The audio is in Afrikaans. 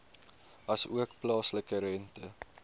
asook plaaslike rente